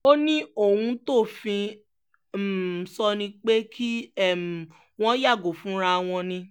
ó ní ohun tófin um sọ ni pé kí um wọ́n yàgò fúnra wọn ni